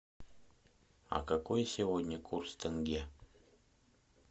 а какой сегодня курс тенге